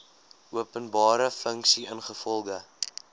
openbare funksie ingevolge